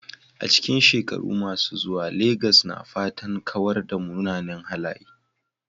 A cikin shekaru masu zuwa, Legas na fatan kawar da munanan halaye.